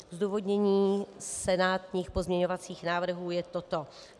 Zdůvodnění senátních pozměňovacích návrhů je toto.